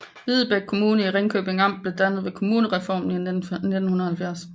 Videbæk Kommune i Ringkøbing Amt blev dannet ved kommunalreformen i 1970